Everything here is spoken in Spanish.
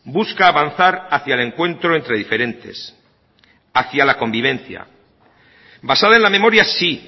busca avanzar hacia el encuentro entre diferentes hacia la convivencia basada en la memoria sí